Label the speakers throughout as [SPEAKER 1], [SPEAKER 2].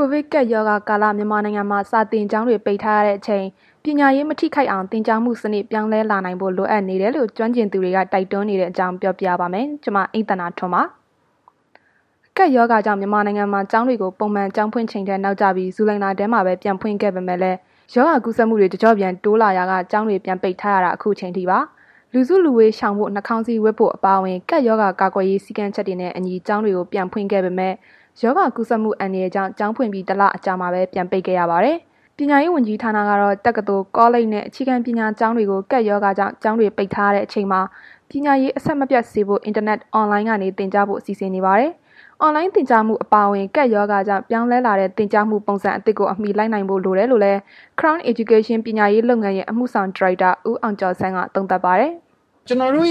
[SPEAKER 1] ိုဗစ်ကပ်ရောဂါကာလ မြန်မာနိုင်ငံမှာ စာသင်ကျောင်းတွေ ပိတ်ထားရတဲ့အချိန် ပညာရေး မထိခိုက်အောင် သင်ကြားမှုစနစ် ပြောင်းလဲလာနိုင်ဖို့ လိုအပ်နေတယ်လို့ ကျွမ်းကျင်သူတွေ တိုက်တွန်းနေတဲ့အကြောင်း ပြောပြပါမယ်။ ဗွီအိုအေမြန်မာပိုင်း သတင်းထောက် အိမ့်သန္တာထွန်း ပြောပြပါမယ်။ ကပ်ရောဂါကြောင့် မြန်မာနိုင်ငံမှာ ကျောင်းတွေကို ပုံမှန်ကျောင်းဖွင့်ချိန်ထက် နောက်ကျပြီး ဇူလိုင်လထဲမှာပဲ ပြန်ဖွင့်ခဲ့ပေမဲ့လည်း ရောဂါကူးစက်မှုတွေ တကျော့ပြန် တိုးလာရာက ကျောင်းတွေ ပြန်ပိတ်ထားရတာ အခုအချိန်အထိပါ။ လူစုလူဝေးရှောင်ဖို့ နှာခေါင်းစည်းဝတ်ဖို့ အပါအဝင် ကပ်ရောဂါကာကွယ်ရေး စည်းကမ်းချက်တွေနဲ့အညီ ကျောင်းတွေကို ပြန်ဖွင့်ခဲ့ပေမဲ့ ရောဂါကူးစက်မှု အန္တရာယ်ကြောင့် ကျောင်းဖွင့်ပြီး ၁ လအကြာမှာပဲ ပြန်ပိတ်ခဲ့ရပါတယ်။ ပညာရေးဝန်ကြီးဌာနကတော့ တက္ကသိုလ်၊ ကောလိပ်တွေနဲ့ အခြေခံပညာ ကျောင်းသူတွေ ကပ်ရောဂါကြောင့် ကျောင်းတွေပိတ်ထားရတဲ့ အချိန်မှာ ပညာရေး အဆက်မပြတ်စေဖို့ အင်တာနက် Online ကနေ သင်ကြားပို့ချဖို့ စီစဉ်နေပါတယ်။ အွန်လိုင်းသင်ကြားမှု အပါအဝင် ကပ်ရောဂါကြောင့် ပြောင်းလဲလာတဲ့ သင်ကြားရေးပုံစံသစ်ကို အမှီလိုက်နိုင်ဖို့ လိုတယ်လို့လည်း Crown Education ပညာရေးလုပ်ငန်းရဲ့ အမှုဆောင်ဒါရိုက်တာ ဦးအောင်ကျော်ဆန်းက သုံးသပ်ပါတယ်။
[SPEAKER 2] “ကျွန်တော်တို့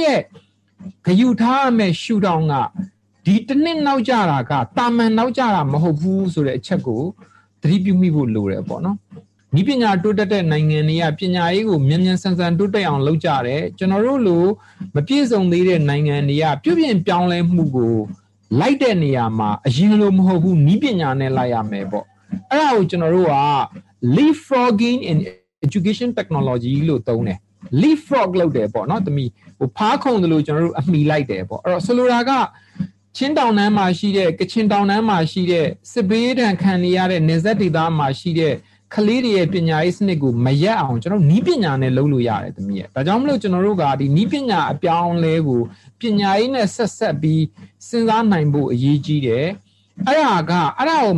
[SPEAKER 2] ဂရုထားရမယ့် ရှုထောင့်က ဒီတစ်နှစ်နောက်ကျတာက သာမာန်နောက်ကျတာမဟုတ်ဘူး ဆိုတာကို သတိပြုမိဖို့ လိုတယ်ပေါ့နော်။ နည်းပညာတိုးတက်တဲ့နိုင်ငံတွေက ပညာရေးကို မြန်မြန်ဆန်ဆန်တိုးတက်အောင်လုပ်ကြတယ်။ ကျွန်တော်တို့လို့ မပြည့်စုံသေးတဲ့နိုင်ငံတွေက ပြုပြင်ပြောင်းလဲဖို့ကို လိုက်တဲ့နေရာမှာ အရင်လိုမဟုတ်ဘူး နည်းပညာနဲ့လိုက်ရမယ်ပေါ့။ အဲ့ဒါကို ကျွန်တော်တို့က ဖားခုန်သလို အမှီလိုက်တယ်ပေါ့။ ဆိုလိုတာက ချင်းတောင်တန်းမှာရှိတဲ့၊ ကချင်တောင်တန်းမှာရှိတဲ့ နယ်စပ်က စစ်ဘေးဒဏ်ခံနေရတဲ့ ကလေးတွေရဲ့ ပညာရေးစနစ်ကို မရပ်အောင် နည်းပညာနဲ့ လုပ်လို့ရတယ်။ ဒါကြောင့်မို့လို့ ကျွန်တော်တို့က နည်းပညာအပြောင်းအလဲကို ပညာရေးနဲ့ ဆက်စပ်ပြီး စဉ်းစားနိုင်ဖို့ အရေးကြီးတယ်။ အဲ့ဒါကို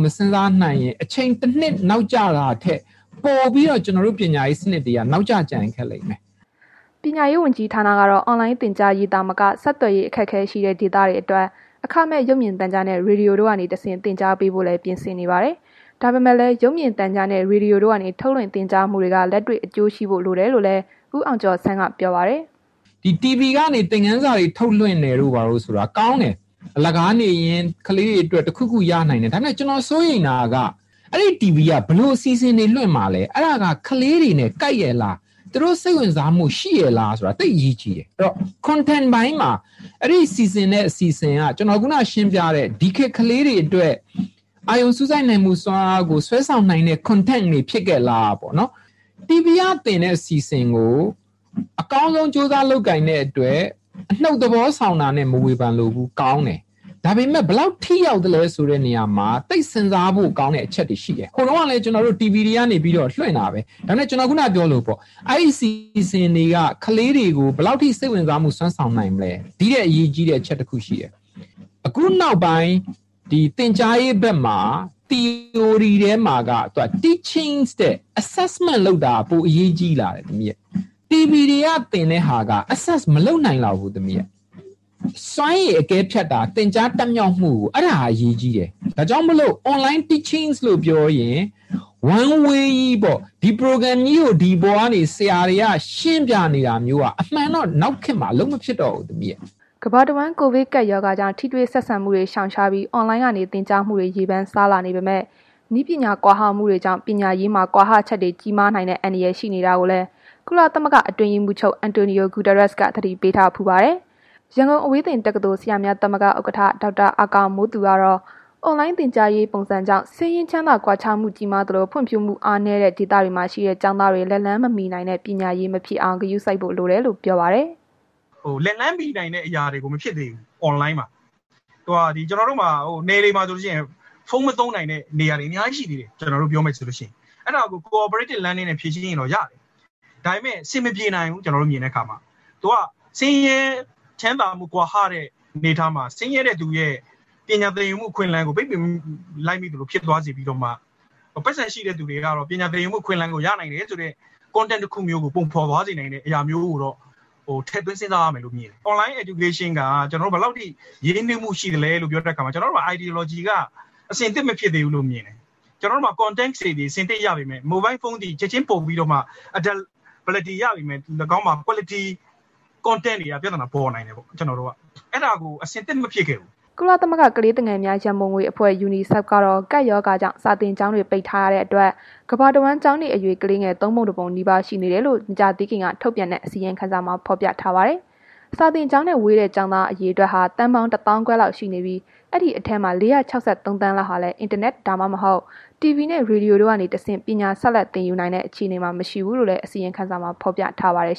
[SPEAKER 2] မစဉ်းစားနိုင်ရင် အချိန်တစ်နှစ်နောက်ကျတာထက် ပိုပြီးတော့ ကျွန်တော်တို့ရဲ့ ပညာရေးစနစ်တွေက နောက်ကျကျန်ရစ်ခဲ့လိမ့်မယ်
[SPEAKER 1] ။” ပညာရေး ဝန်ကြီးဌာနကတော့ အွန်လိုင်းသင်ကြားရေး သာမက ဆက်သွယ်ရေး အခက်အခဲရှိတဲ့ ဒေသတွေအတွက် အခမဲ့ရုပ်မြင်သံကြားနဲ့ ရေဒီယိုကနေ သင်ကြားပေးဖို့လည်း ပြင်ဆင်နေကြပါတယ်။ ဒါပေမဲ့လည်း ရုပ်မြင်သံကြားနဲ့ ရေဒီယိုတို့ကနေ ထုတ်လွှင့်သင်ကြားမှုတွေက လက်တွေ့အကျိုးရှိဖို့ လိုတယ်လို့လည်း ဦးအောင်ကျော်ဆန်းက ပြောပါတယ်
[SPEAKER 2] ။ “TV ကနေ သင်ခန်းစာတွေထုတ်လွင့်တာက ကောင်းတယ်၊ အလကားနေရင် ကလေးတွေအတွက် တစ်ခုခုရတယ်။ ဒါပေမယ့် ကျွန်တော်စိုးရိမ်တာက အဲ့ဒီ TV က ဘယ်လို အစီအစဉ်တွေကိုလွင့်မှာလဲ။ အဲ့ဒါက ကလေးတွေနဲ့ ကိုက်ရဲ့လား။ သူတို့ စိတ်ဝင်စားမှုရှိရဲ့လားဆိုတာ သိပ်အရေးကြီးတယ်။ အဲ့တော့ Contact ပိုင်းမှာ အဲ့ဒီစီစဉ်တဲ့ အစီအစဉ်က ဒီခေတ်ကလေးတွေအတွက် အာရုံစူးစိုက်နိုင်မှု စွမ်းအားကို ဆွဲဆောင်နိုင်တဲ့ Contact တွေဖြစ်ရဲ့လားပေါ့။ TV ကသင်တဲ့အစီအစဉ်ကို အကောင်းဆုံး ကြိုးစားလုပ်ကိုင်တဲ့အတွက် အနုတ်သဘောဆောင်တာနဲ့ မဝေဖန်လိုဘူး၊ ကောင်းတယ်။ ဒါဘယ်မယ့် ဘယ်လောက်ထိရောက်သလဲဆိုတာမှာ သိပ်စဉ်းစားဖို့ကောင်းတဲ့ အချက်တွေရှိတယ်။ ဟိုတုန်းက လည်း ကျွန်တော်တို့ TV တွေကနေ လွင့်တာပဲ ဒါပေမယ့် ကျွန်တော် ခုဏကပြောသလိုပေါ့၊ အဲ့ဒီအစီအစဉ်တွေက ဘယ်လောက်ထိ စိတ်ဝင်စားမှု စွမ်းဆောင်နိုင်မလဲ။ ဒီထက်အရေးကြီးတဲ့ အချက်တစ်ခုရှိတယ်၊ ခုနောက်ပိုင်း သင်ကြားရေးဘက်မှာ သီအိုရီထဲမှာက Teaching ထက် Assessment လုပ်တာက ပိုအရေးကြီးလာတယ်။ TV တွေကသင်တဲ့ဟာတွေက Assess မလုပ်နိုင်လောက်ဘူး။ စွမ်းရည်အကဲဖြတ်တာ သင်ကြားတတ်မြောက်မှုကို အဲ့ဒါက အရေးကြီးတယ်။ ဒါကြောင့်မို့လို့ Online Teaching လို့ပြောရင် One Way ကြီးပေါ့၊ ဒါကြီးကို ဒီပေါ်ကနေ ဆရာတွေက ရှင်းပြနေတာမျိုးက အမှန်တော့ နောက်ခေတ်မှာ အလုပ်မဖြစ်တော့ဘူး။
[SPEAKER 1] ” ကမ္ဘာတဝန်း ကိုဗစ်ကပ်ရောဂါကြောင့် ထိတွေ့ဆက်ဆံမှုတွေ ရှောင်ရှားပြီး အွန်လိုင်းက သင်ကြားမှုတွေ ရေပမ်းစားလာနေပေမဲ့ နည်းပညာ ကွာဟမှုတွေကြောင့် ပညာရေးမှာ ကွာဟချက်တွေ ကြီးမားနိုင်တဲ့ အန္တရာယ် ရှိနေတာကိုလည်း ကုလသမဂ္ဂ အတွင်းရေးမှူးချုပ် အန်တိုနီယို ဂုတာရပ်စ်က သတိပေးထားဘူးပါတယ်။ ရန်ကုန်အဝေးသင်တက္ကသိုလ် ဆရာများသမဂ္ဂ ဥက္ကဌ ဒေါက်တာ အာကာမိုးသူကတော့ အွန်လိုင်း သင်ကြားမှုပုံစံကြောင့် ဆင်းရဲ ချမ်းသာ ကွာခြားမှုကြီးမားသလို ဖွံ့ဖြိုးမှု အားနည်းတဲ့ ဒေသမှာရှိတဲ့ ကျောင်းသားတွေ လက်လှမ်းမမှီနိုင်တဲ့ ပညာရေးမဖြစ်အောင် ဂရုစိုက်ဖို့လိုတယ်လို့ ပြောပါတယ်။
[SPEAKER 3] “လက်လှမ်းမီနိုင်တဲ့ အရာတွေမဖြစ်သေးဘူး။ ကျွန်တော်တို့မှာ နယ်တွေမှာဆိုလို့ရှိရင် ဖုန်းမသုံးနိုင်တဲ့ နေရာတွေအများကြီးရှိသေးတယ် ကျွန်တော်တို့ပြောရမယ်ဆိုလို့ရှိရင်။ အဲ့ဒါကို Co-operated Learning နဲ့ ဖြေရှင်းရင်တော့ရတယ်။ ဒါပေမယ့် အဆင်မပြေနိုင်ဘူး၊ ကျွန်တော်တို့မြင်တဲ့အခါမှာ ဒါက ဆင်းရဲ ချမ်းသာမှု ကွာဟတဲ့ အနေအထားမှာ ဆင်းရဲတဲ့သူရဲ့ ပညာသင်ယူမှု အခွင့်အလမ်းကို ပိတ်ပင်လိုက်သလို ဖြစ်သွားစေပြီးတော့မှ ပိုက်ဆံရှိတဲ့သူတွေကတော့ ပညာသင်ယူမှု အခွင့်အလမ်းကို ရနိုင်တယ်ဆိုတဲ့ Contact မျိုးကို ပုံဖော်သွားစေနိုင်တာမျိုးကိုတော့ ထင်သွင်းစဉ်းစားရမယ်လို့ မြင်တယ်။ Online Education က ဘယ်လောက်ထိ ရင်းနှီးမှုရှိသလဲဆိုတဲ့အခါမှာ ကျွန်တော်တို့ရဲ့ Ideology က အဆင်သင့်မဖြစ်သေးဘူးလို့မြင်တယ်။ ကျွန်တော်တို့မှာ Contact တွေအဆင်သင့်ရပေမယ့်၊ မိုဘိုင်းဖုန်းသည် ချက်ချင်း လုပ်ကိုင် သုံးနိုင်ပေမယ့် ၎င်းမှာ Quality Contact ပိုင်းတွေက ပြသနာပေါ်နိုင်တယ်။ ကျွန်တော်တို့က အဲ့ဒါကို အဆင်သင့်မဖြစ်ခဲ့ဘူး။
[SPEAKER 1] ” ကုလသမဂ္ဂ ကလေးငယ်များ ရန်ပုံငွေအဖွဲ့ Unicef ကတော့ ကပ်ရောဂါကြောင့် စာသင်ကျောင်းတွေ ပိတ်ထားရတဲ့အတွက် ကမ္ဘာတဝန်း ကျောင်းနေအရွယ် ကလေးငယ် ၃ ပုံ ၁ ပုံနီးပါး ရှိနေကြောင်း မကြာသေးခင်က ထုတ်ပြန်တဲ့ အစီရင်ခံစာမှာ ဖော်ပြထားပါတယ်။ စာသင်ကျောင်းနဲ့ ဝေးတဲ့ ကျောင်းသား အရေအတွက်ဟာ သန်းပေါင်း ၁ သောင်းခွဲ လောက်ရှိနေပြီး ဒီအထဲမှာ ၄၆၃ သန်းလောက်ဟာလည်း အင်တာနက်၊ ဒါမှမဟုတ် တီဗွီနဲ့ ရေဒီယိုတွေကနေတဆင့် ပညာဆက်လက် သင်ယူနိုင်တဲ့ အခြေအနေမှာ မရှိဘူးလို့လည်း အစီရင်ခံစာမှာ ဖော်ပြထားပါတယ်